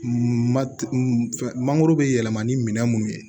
Ma fɛn mangoro be yɛlɛma ni minɛn mun ye